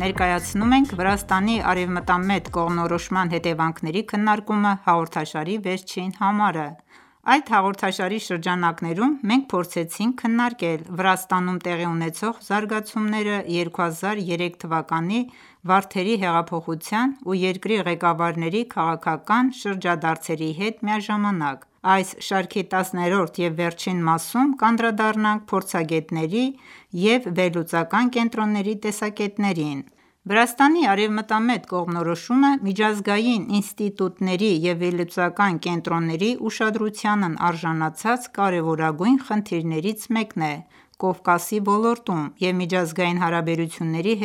Ներկակացնում ենք «Վրաստանի արևմտամետ կողմնորոշման հետևանքների քննարկումը» հաղորդաշարի վերջին համարը: Այս հաղորդաշարի շրջանակներում մենք փորձեցինք քննարկել Վրաստանում տեղի ունեցող զարգացումները 2003 թվականի «Վարդերի հեղափոխության» և երկրի ղեկավարների քաղաքական շրջադարձերի հետ միաժամանակ։ Այս շարքի տասներորդ և վերջին մասում կանդրադառնանք փորձագետների և վերլուծական կենտրոնների տեսակետներին։ Վրաստանի արևմտամետ կողմնորոշումը միջազգային ինստիտուտների և վերլուծական կենտրոնների ուշադրությանն արժանացած կարևորագույն խնդիրներից մեկն է՝ Կովկասի ոլորտում, և միջազգային հարաբերությունների հետազոտողները,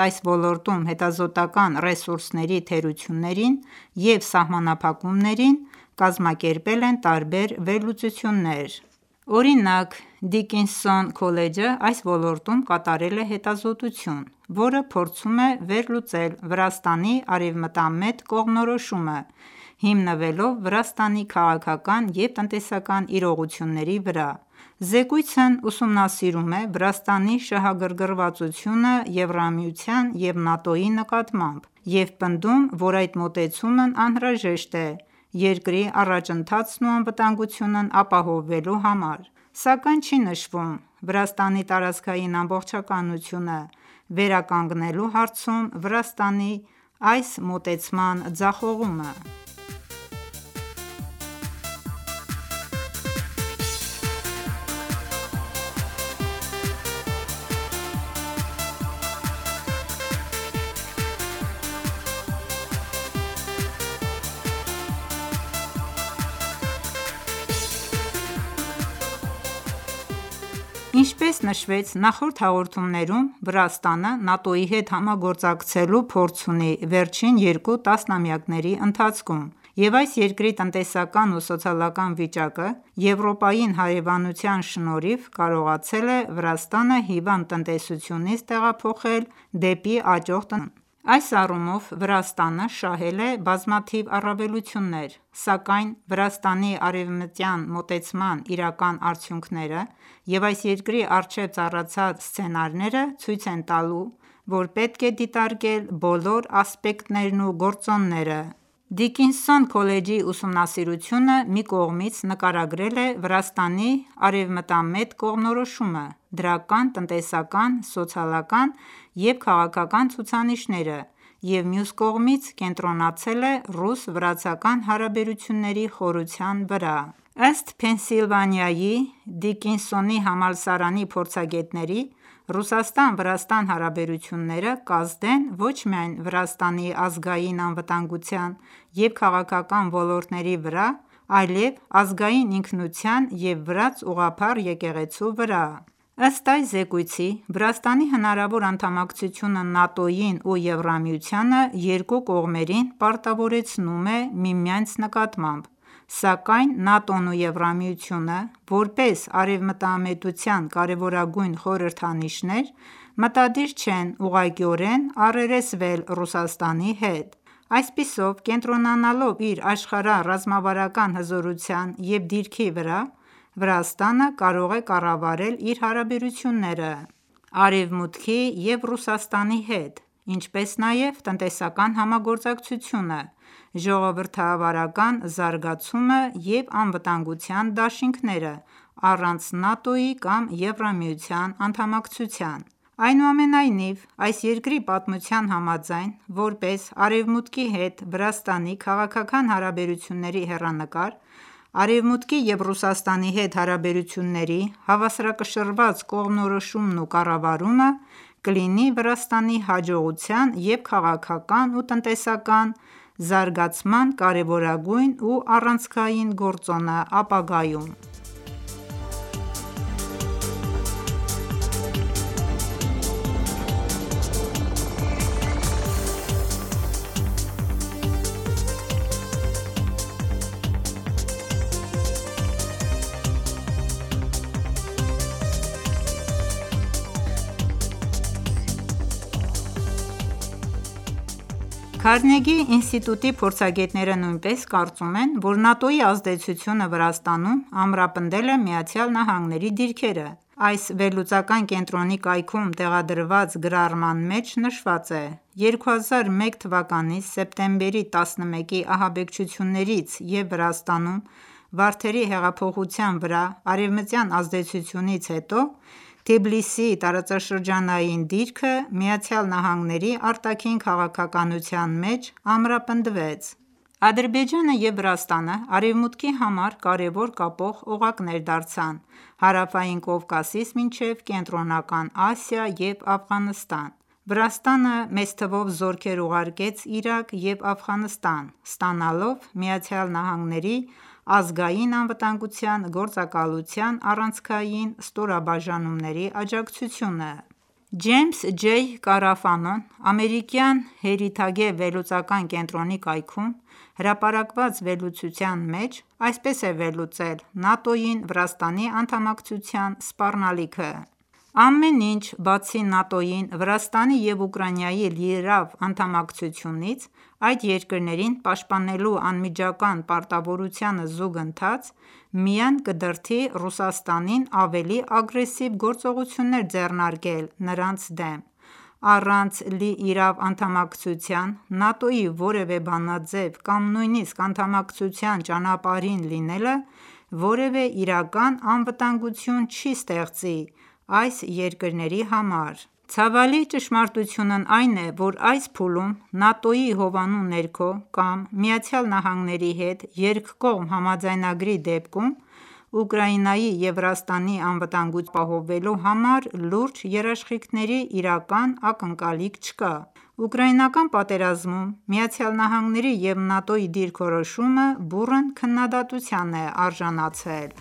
չնայած այս ոլորտում հետազոտական ​​ռեսուրսների թերություններին և սահմանափակումներին, կազմակերպել են տարբեր վերլուծություններ։ Օրինակ՝ Դիկինսոն քոլեջը այս ոլորտում կատարել է հետազոտություն, որը փորձում է վերլուծել Վրաստանի արևմտամետ կողմնորոշումը` հիմնվելով Վրաստանի քաղաքական և տնտեսական իրողությունների վրա: Զեկույցն ուսումնասիրում է Վրաստանի շահագրգռվածությունը ԵՄ-ի և ՆԱՏՕ-ի նկատմամբ և պնդում, որ այդ մոտեցումն անհրաժեշտ է երկրի առաջընթացն ու անվտանգությունն ապահովելու համար, սակայն չի նշվում Վրաստանի տարածքային ամբողջականությունը վերականգնելու հարցում Վրաստանի այս մոտեցման ձախողումը: Ինչպես նշվեց նախորդ հաղորդումներում, Վրաստանը ՆԱՏՕ-ի հետ համագործակցելու փորձ ունի վերջին երկու տասնամյակների ընթացքում, և այս երկրի տնտեսական և սոցիալական վիճակը, Եվրոպային հարևանության շնորհիվ, կարողացել է Վրաստանը հիվանդ տնտեսությունից տեղափոխել դեպի աճող տնտեսություն: Այս առումով Վրաստանը շահել է բազմաթիվ առավելություններ, սակայն Վրաստանի արևմտյան մոտեցման իրական արդյունքները և այս երկրի առջև ծառացած սցենարները ցույց տալու համար պետք է դիտարկել բոլոր ասպեկտներն ու գործոնները։ Դիկինսոն քոլեջի ուսումնասիրությունը մի կողմից նկարագրել է Վրաստանի արևմտամետ կողմնորոշումը, դրական տնտեսական, սոցիալական և քաղաքական ցուցանիշները և մյուս կողմից կենտրոնացել է ռուս-վրացական հարաբերությունների խորության վրա: Ըստ Փենսիլվանիայի Դիկինսոնի համալսարանի փորձագետների, Ռուսաստան-Վրաստան հարաբերությունները կազդեն ոչ միայն Վրաստանի ազգային անվտանգության և քաղաքական ոլորտների վրա, այլև ազգային ինքնության և վրաց ուղղափառ եկեղեցու վրա: Ըստ այս զեկույցի՝ Վրաստանի հնարավոր անդամակցությունը ՆԱՏՕ-ին և ԵՄ-ին երկու կողմերին պարտավորեցնում է միմյանց նկատմամբ, սակայն ՆԱՏՕ-ն և ԵՄ-ը, որպես արևմտամետության կարևորագույն խորհրդանիշներ, մտադիր չեն ուղղակիորեն առերեսվել Ռուսաստանի հետ։ Այսպիսով, կենտրոնանալով իր աշխարհառազմավարական հզորության և դիրքի վրա՝ Վրաստանը կարող է կառավարել իր հարաբերությունները Արևմուտքի և Ռուսաստանի հետ, ինչպես նաև տնտեսական համագործակցությունը, ժողովրդավարական զարգացումը և անվտանգության դաշինքները՝ առանց ՆԱՏՕ-ի կամ ԵՄ-ի անդամակցության: Այնուամենայնիվ, այս երկրի պատմության համաձայն, որպես Արևմուտքի հետ Վրաստանի քաղաքական հարաբերությունների հեռանկար, Արևմուտքի և Ռուսաստանի հետ հարաբերությունների հավասարակշռված կողմնորոշումն ու կառավարումը կլինի Վրաստանի հաջողության և քաղաքական ու տնտեսական զարգացման կարևորագույն և առանցքային գործոնը՝ ապագայում: ՆԱՏՕ-ին անդամակցելը Վրաստանի համար առավելություն է թե՞ մարտահրավեր Քարնեգի ինստիտուտի փորձագետները նույնպես կարծում են, որ ՆԱՏՕ-ի ազդեցությունը Վրաստանում ամրապնդել է ԱՄՆ դիրքերը։ Այս վերլուծական կենտրոնի կայքում տեղադրված գրառման մեջ նշված է.«2001թ. սեպտեմբերի 11-ի ահաբեկչություններից և Վրաստանում Վարդերի հեղափոխության վրա արևմտյան ազդեցությունից հետո Թբիլիսիի տարածաշրջանային դիրքը ԱՄՆ արտաքին քաղաքականության մեջ ամրապնդվեց: Ադրբեջանը և Վրաստանը Արևմուտքի համար կարևոր կապող օղակներ դարձան՝ Հարավային Կովկասից մինչև Կենտրոնական Ասիա և Աֆղանստան: Վրաստանը մեծ թվով զորքեր ուղարկեց Իրաք և Աֆղանստան՝ ստանալով ԱՄՆ Ազգային անվտանգության գործակալության առանցքային ստորաբաժանումների աջակցությունը: Ջեյմս Ջեյ Կարաֆանոն ամերիկյան Heritage վերլուծական կենտրոնի կայքում հրապարակված վերլուծության մեջ այսպես է վերլուծել ՆԱՏՕ-ին Վրաստանի անդամակցության սպառնալիքը.«Ամեն ինչ, բացի ՆԱՏՕ-ին Վրաստանի և Ուկրաինայի լիիրավ անդամակցությունից, այդ երկրներին պաշտպանելու անմիջական պարտավորությանը զուգընթաց, միայն կդրդի Ռուսաստանին ավելի ագրեսիվ գործողություններ ձեռնարկել նրանց դեմ: Առանց լիիրավ անդամակցության ՆԱՏՕ-ի որևէ բանաձև կամ նույնիսկ անդամակցության ճանապարհին լինելը, որևէ իրական անվտանգություն չի ստեղծի այս երկրների համար: Ցավալի ճշմարտությունն այն է, որ այս փուլում ՆԱՏՕ-ի հովանու ներքո կամ ԱՄՆ-ի հետ երկկողմ համաձայնագրի դեպքում Ուկրաինայի և Վրաստանի անվտանգությունն ապահովելու համար լուրջ երաշխիքների իրական ակնկալիք չկա: Ուկրաինական պատերազմում ԱՄՆ-ի և ՆԱՏՕ-ի դիրքորոշումը բուռն քննադատության է արժանացել։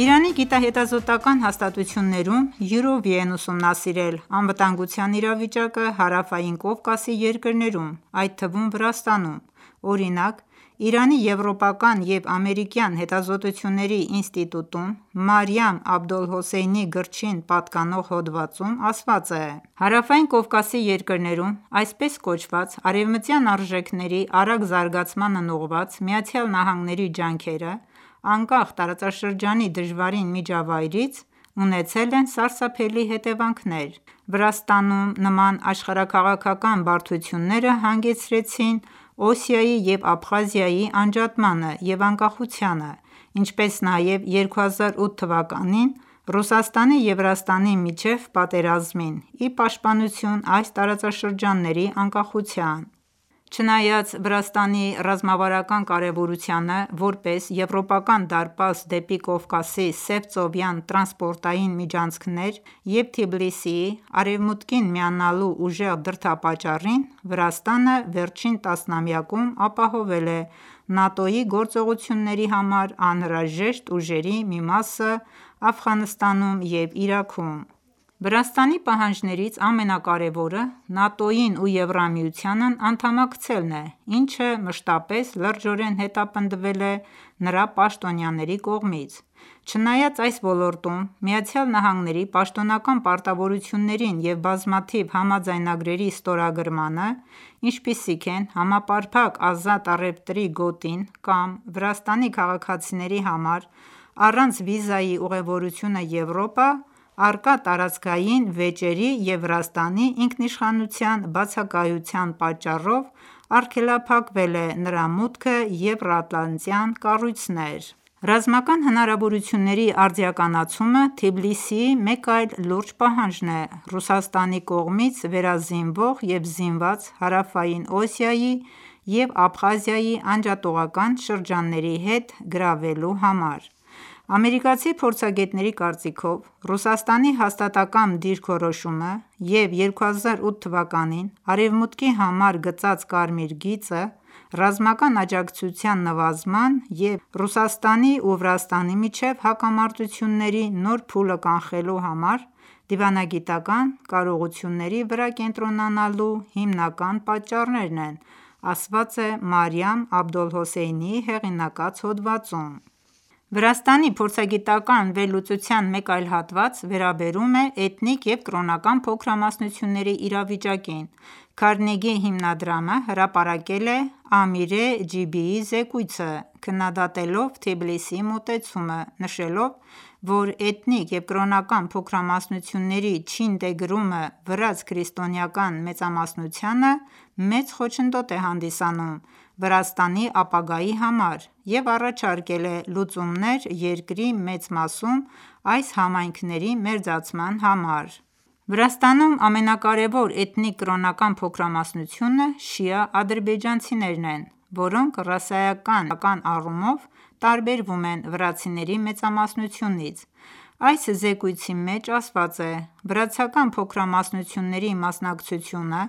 Իրանի գիտահետազոտական ​​հաստատություններում յուրովի են ուսումնասիրել անվտանգության իրավիճակը Հարավային Կովկասի երկրներում, այդ թվում՝ Վրաստանում։ Օրինակ, Իրանի եվրոպական և ամերիկյան հետազոտությունների ինստիտուտում, Մարիամ Աբոլհոսեյնիի գրչին պատկանող հոդվածում ասված է.«Հարավային Կովկասի երկրներում այսպես կոչված արևմտյան արժեքների արագ զարգացմանն ուղղված ԱՄՆ-ի ջանքերը, անկախ տարածաշրջանի դժվարին միջավայրից, ունեցել են սարսափելի հետևանքներ։ Վրաստանում նման աշխարհաքաղաքական բարդությունները հանգեցրին Օսիայի և Աբխազիայի անջատմանը և անկախությանը, ինչպես նաև 2008 թվականին Ռուսաստանի և Վրաստանի միջև պատերազմին ի պաշտպանություն այս տարածաշրջանների անկախության: Չնայած Վրաստանի ռազմավարական կարևորությանը որպես եվրոպական դարպաս դեպի Կովկասի սևծովյան տրանսպորտային միջանցքներ և Թբիլիսիի՝ Արևմուտքին միանալու ուժեղ դրդապատճառին, Վրաստանը վերջին տասնամյակում ապահովել է ՆԱՏՕ-ի գործողությունների համար անհրաժեշտ ուժերի մի մասը Աֆղանստանում և Իրաքում»: «Վրաստանի պահանջներից ամենակարեւորը ՆԱՏՕ-ին ու ԵՄ-ին անդամակցելն է, ինչը մշտապես լրջորեն հետապնդվել է նրա պաշտոնյաների կողմից։ Չնայած այս ոլորտում ԱՄՆ-ի պաշտոնական պարտավորություններին և բազմաթիվ համաձայնագրերի ստորագրմանը, ինչպիսիք են համապարփակ ազատ առևտրի գոտին կամ Վրաստանի քաղաքացիների համար առանց վիզայի ուղևորությունը Եվրոպա՝ առկա տարածքային վեճերի և Վրաստանի ինքնիշխանության բացակայության պատճառով արգելափակվել է նրա մուտքը եվրատլանտյան կառույցներ: Ռազմական հնարավորությունների արդիականացումը Թբիլիսիի մեկ այլ լուրջ պահանջն է՝ Ռուսաստանի կողմից վերազինվող և զինված Հարավային Օսիայի և Աբխազիայի անջատողական շրջանների հետ գրավելու համար։ Ամերիկացի փորձագետների կարծիքով, Ռուսաստանի հաստատակամ դիրքորոշումը և 2008 թվականին Արևմուտքի համար գծած կարմիր գիծը՝ ռազմական աջակցության նվազման և Ռուսաստանի ու Վրաստանի միջև հակամարտությունների նոր փուլը կանխելու համար դիվանագիտական ​​կարողությունների վրա կենտրոնանալու հիմնական պատճառներն են»,ասված է Մարիամ Աբոլհոսեյնիի հեղինակած հոդվածում: Վրաստանի փորձագիտական ​​վերլուծության մեկ այլ հատված վերաբերում է էթնիկ և կրոնական փոքրամասնությունների իրավիճակին։ Քարնեգի հիմնադրամը հրապարակել է Ամիրե Ջիբիի զեկույցը՝ քննադատելով Թբիլիսիի մոտեցումը՝ նշելով, որ էթնիկ և կրոնական փոքրամասնությունների չինտեգրումը վրաց-քրիստոնեական մեծամասնությանը մեծ խոչընդոտ է հանդիսանում Վրաստանի ապագայի համար և առաջարկել է լուծումներ երկրի մեծ մասում այս համայնքների մերձեցման համար: Վրաստանում ամենակարեւոր էթնիկ-կրոնական փոքրամասնությունը շիա ադրբեջանցիներն են, որոնք ռասայական եւ կրոնական առումով տարբերվում են վրացիների մեծամասնությունից: Այս զեկույցի մեջ ասված է.«Վրացական փոքրամասնությունների մասնակցությունը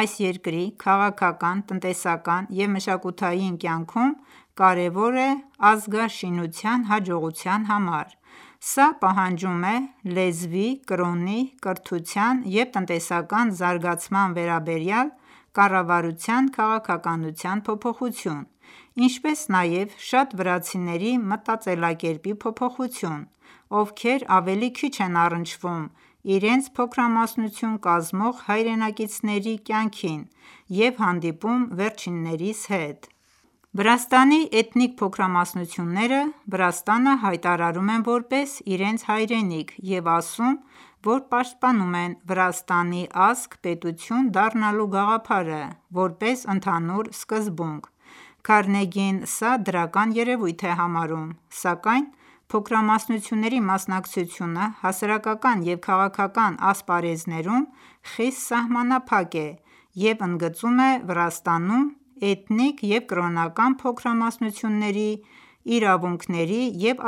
այս երկրի քաղաքական, տնտեսական և մշակութային կյանքում կարևոր է ազգաշինության հաջողության համար։ Սա պահանջում է լեզվի, կրոնի, կրթության և տնտեսական զարգացման վերաբերյալ կառավարության քաղաքականության փոփոխություն, ինչպես նաև շատ վրացիների մտածելակերպի փոփոխություն, ովքեր ավելի քիչ են առնչվում իրենց փոքրամասնություն կազմող հայրենակիցների կյանքին և հանդիպում վերջիններիս հետ: Վրաստանի էթնիկ փոքրամասնությունները Վրաստանը հայտարարում են որպես իրենց հայրենիք և ասում են, որ պաշտպանում են Վրաստանի ազգ-պետություն դառնալու գաղափարը՝ որպես ընդհանուր սկզբունք։ Քարնեգին սա դրական երևույթ է համարում, սակայն փոքրամասնությունների մասնակցությունը հասարակական և քաղաքական ասպարեզներում խիստ սահմանափակ է և ընդգծում է Վրաստանում էթնիկ և կրոնական փոքրամասնությունների իրավունքների և